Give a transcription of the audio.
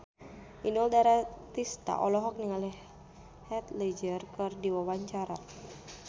Inul Daratista olohok ningali Heath Ledger keur diwawancara